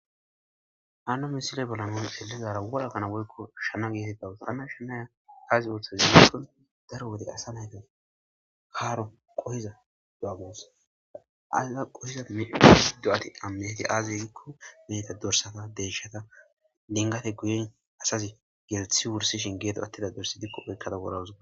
Hano misiley bolla nu be'ishn dizara wora kana woyko Shana getetetawusi, Hana shanaya aazi oothaze giikon daro wode asa nayti haaro qohiza do'a guusa, ha iza qohiza do'ati a miyageti aze giikon meheta dorsata,deyshata dingete guye asazi gelthi wursiahn guye atidayi diiko wodhed guusa